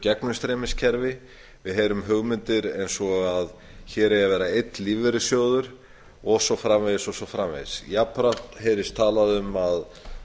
gegnumstreymiskerfi við heyrum hugmyndir eins og að hér eigi að vera einn lífeyrissjóður og svo framvegis jafnframt heyrist talað um að